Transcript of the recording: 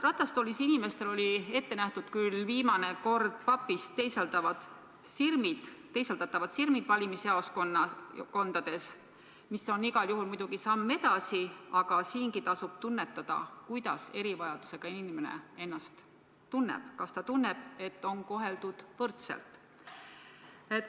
Ratastoolis inimestele oli küll viimane kord ette nähtud papist teisaldatavad sirmid valimisjaoskondades, mis on igal juhul muidugi samm edasi, aga siingi tasub tunnetada, kuidas erivajadusega inimene ennast tunneb, kas ta tunneb, et teda on koheldud võrdselt.